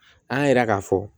An y'a yira k'a fɔ